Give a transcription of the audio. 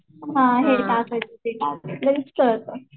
हा हे टाकायचं ते टाकायचं